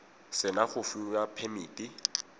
se na go fiwa phemiti